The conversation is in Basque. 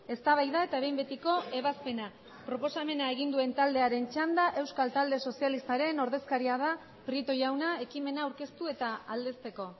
eztabaida eta behin betiko ebazpena proposamena egin duen taldearen txanda euskal talde sozialistaren ordezkaria da prieto jauna ekimena aurkeztu eta aldezteko